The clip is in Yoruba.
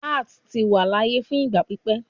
Arts ti wa laaye fun igba pipẹ